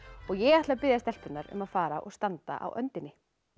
ég ætla að biðja stelpurnar um að fara og standa á öndinni